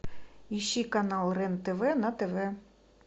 ищи канал рен тв на тв